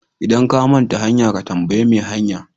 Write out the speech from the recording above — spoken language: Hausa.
Idan ka manta hanya, ka tambayi mai hanya.